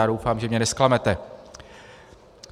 A doufám, že mě nezklamete.